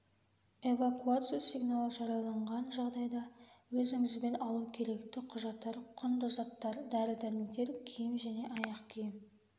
эвакуация сигналы жарияланған жағдайда өзіңізбен алу керекті құжаттар құнды заттар дәрі-дәрмектер киім және аяқ киім